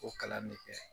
O kalan ne kɛ